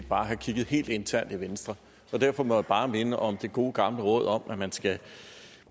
bare have kigget helt internt i venstre og derfor må jeg bare minde om det gode gamle råd om at man skal